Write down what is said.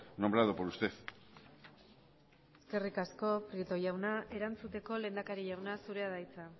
nombrado por usted eskerrik asko prieto jauna erantzuteko lehendakari jauna zurea da hitza